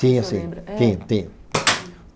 Tinha sim, o senhor lembra, é, tinha tinha. Hm